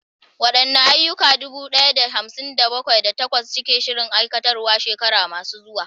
Waɗanne ayyuka dubu ɗaya da hamsin da bakwai, da takwas suke shirin aiwatarwa a shekaru masu zuwa?